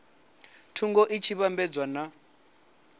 thungo i tshi vhambedzwa na